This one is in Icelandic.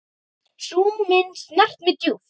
Sú mynd snart mig djúpt.